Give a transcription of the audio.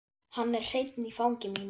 Hann er hreinn í fangi mínu.